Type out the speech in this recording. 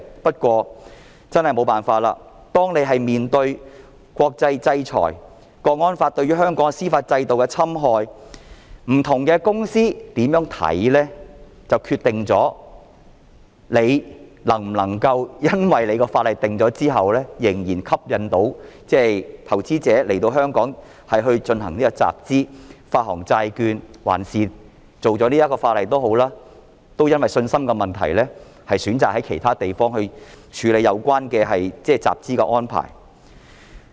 不過，真的沒法子，面對的國際制裁、《港區國安法》對於香港司法制度的侵害、不同公司有甚麼看法，就決定了訂立法例後能否仍然吸引投資者在香港進行集資、發行債券，還是即使訂立了法例，投資者會因為信心的問題而選擇在其他地方處理有關集資的安排。